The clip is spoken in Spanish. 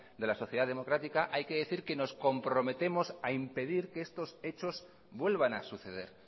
de la sociedad democrática hay que decir que nos comprometemos a impedir que estos hechos vuelvan a suceder